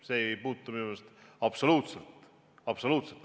See ei puutu minu meelest absoluutselt asjasse.